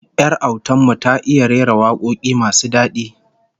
Yar autar mu ta iya rera wakoki masu dadi